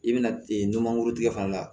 I bɛna numankuru tigɛ fana la